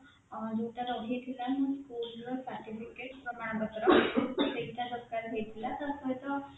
ଅଁ ଯୋଉଟା ରହିଥିଲା school ର certificate, ପ୍ରମାଣ ପତ୍ର ସେଇଟା ଦରକାର ହେଇଥିଲା ତା ସହିତ